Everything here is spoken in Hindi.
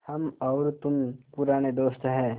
हम और तुम पुराने दोस्त हैं